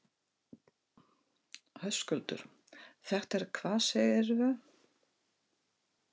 Höskuldur: Þetta er hvað segirðu?